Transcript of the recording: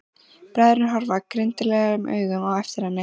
Bræðurnir horfa girndaraugum á eftir henni.